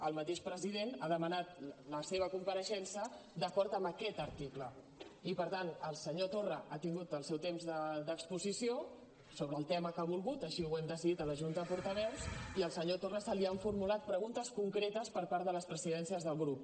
el mateix president ha demanat la seva compareixença d’acord amb aquest article i per tant el senyor torra ha tingut el seu temps d’exposició sobre el tema que ha volgut així ho hem decidit a la junta de portaveus i al senyor torra se li han formulat preguntes concretes per part de les presidències de grup